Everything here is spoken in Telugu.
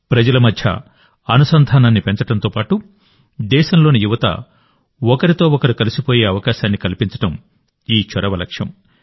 ప్రజల మధ్య అనుసంధానాన్ని పెంచడంతోపాటు దేశంలోని యువత ఒకరితో ఒకరు కలిసిపోయే అవకాశాన్ని కల్పించడం ఈ చొరవ లక్ష్యం